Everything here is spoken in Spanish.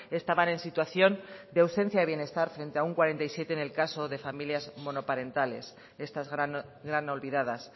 estaban en situación de ausencia de bienestar frente a un cuarenta y siete en el caso de familias monoparentales estas gran olvidadas